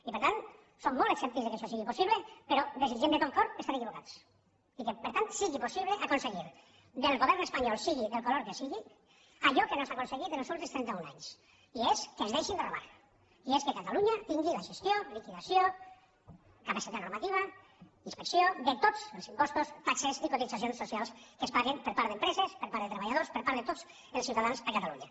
i per tant som molt escèptics que això sigui possible però desitgem de tot cor estar equivocats i que per tant sigui possible aconseguir del govern espanyol sigui del color que sigui allò que no s’ha aconseguit en els últims trenta un anys i és que ens deixin de robar i és que catalunya tingui la gestió liquidació capacitat normativa inspecció de tots els impostos taxes i cotitzacions socials que es paguen per part d’empreses per part de treballadors per part de tots els ciutadans a catalunya